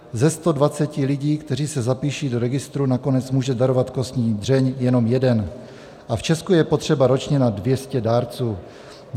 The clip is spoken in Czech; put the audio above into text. Ze 120 lidí, kteří se zapíší do registru, nakonec může darovat kostní dřeň jenom jeden a v Česku je potřeba ročně na 200 dárců.